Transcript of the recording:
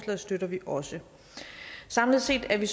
støtter vi også samlet set er vi